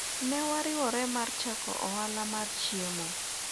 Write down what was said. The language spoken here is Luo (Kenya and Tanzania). ne wariwore mar chako ohala mar chiemo